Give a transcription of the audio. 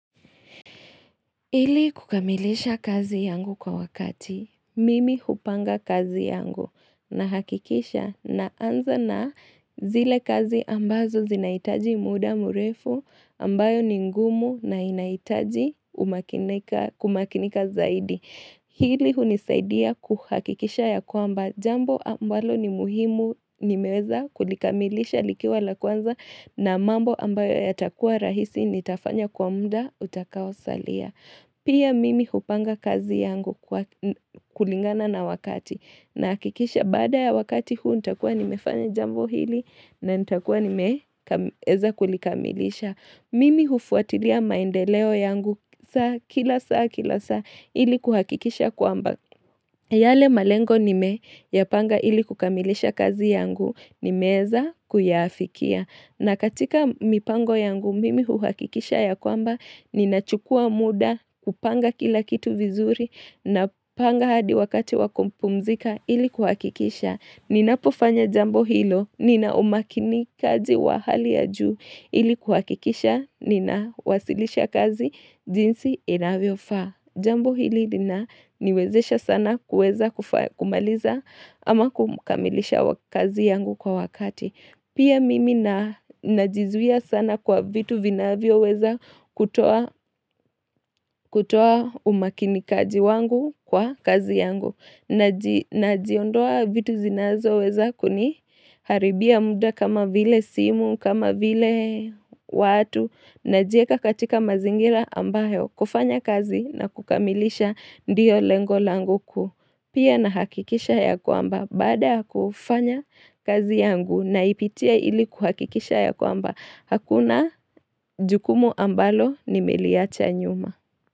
Ili kukamilisha kazi yangu kwa wakati, mimi hupanga kazi yangu nahakikisha naanza na zile kazi ambazo zinahitaji muda murefu ambayo ni ngumu na inahitaji kumakinika zaidi. Hili hunisaidia kuhakikisha ya kwamba jambo ambalo ni muhimu nimeweza kulikamilisha likiwa la kwanza na mambo ambayo yatakuwa rahisi nitafanya kwa muda utakao salia. Pia mimi hupanga kazi yangu kulingana na wakati na hakikisha baada ya wakati huu nita kuwa nimefanya jambo hili na nitakuwa nimeweza kulikamilisha. Mimi hufuatilia maendeleo yangu saa kila saa kila saa ili kuhakikisha kwamba. Yale malengo nimeyapanga ili kukamilisha kazi yangu nimeweza kuyafikia. Na katika mipango yangu mimi hukikisha ya kwamba ninachukua muda kupanga kila kitu vizuri napanga hadi wakati wakumpumzika ili kuhakikisha. Ninapofanya jambo hilo nina umakini wa hali ya juu ili kuhakikisha ninawasilisha kazi jinsi inavyofaa. Jambo hili linaniwezesha sana kuweza kumaliza ama kumakamilisha kazi yangu kwa wakati. Pia mimi na najizuia sana kwa vitu vinavyoweza kutoa umakini wangu kwa kazi yangu. Najiondoa vitu zinazoweza kuniharibia muda kama vile simu, kama vile watu najieka katika mazingira ambayo kufanya kazi na kukamilisha ndiyo lengo langu kuu Pia nahakikisha ya kwamba baada kufanya kazi yangu naipitia ili kuhakikisha ya kwamba Hakuna jukumu ambalo nimeliwacha nyuma.